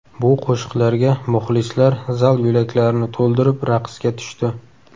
Bu qo‘shiqlarga muxlislar zal yo‘laklarini to‘ldirib raqsga tushdi.